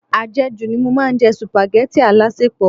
Ajeju ni mo máa ń jẹ supageti alasepo.